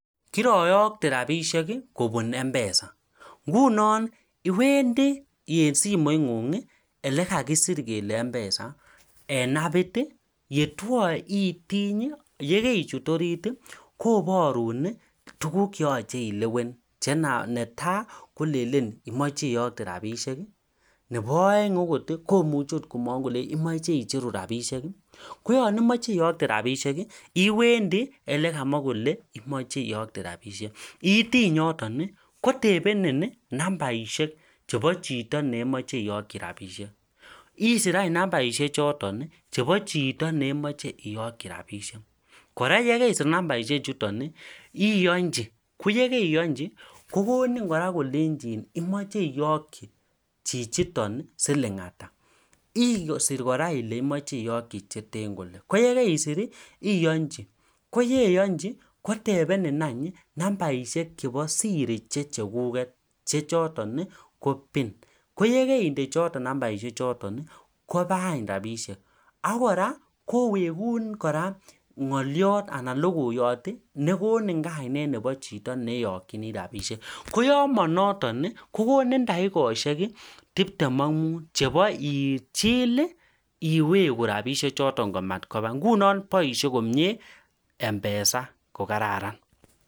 Iwendi olekakisir kelee (mpesa) eng (app) itiny ichut orit atya ilewen oleimeche iyokte isir (number) ichotok imeche isir nambarinik chotok atya iyonjii atya indee ile imeche itokji ata atya indee (pin) chotok che siri nengung